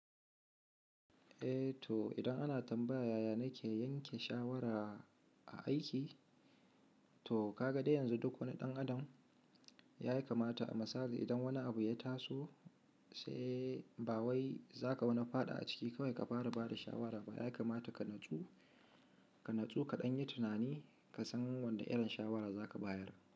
Eh to idan ana tambaya yaya nake yanke shawara a aiki, to ka ga dai yanzu duk wani ɗan adam ya yi kamata a misali. Idan wani abu ya taso sai ba wai za ka wani faɗa a ciki kawai ka fara bada shawara ba. Ya kamata ka natsu, ka ɗan yi tunani, ka san wanda irin shawara za ka bayar.